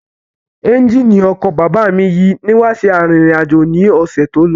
Ẹ́ńjìnì ọkọ̀ bàbá mi yí nígbà tí à ń rírìn àjò ni ọ̀sẹ̀ tó lọ